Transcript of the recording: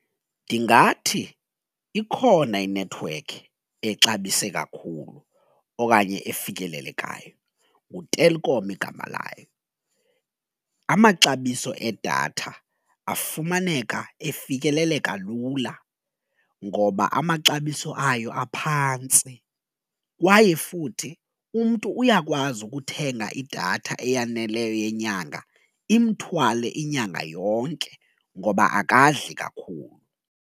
Ndingathi ikhona inethiwekhi exabise kakhulu okanye efikelelekayo nguTelkom igama layo. Amaxabiso edatha afumaneka efikeleleka lula ngoba amaxabiso ayo aphantsi kwaye futhi umntu uyakwazi ukuthenga idatha eyaneleyo yenyanga imthwale inyanga yonke ngoba akadli kakhulu.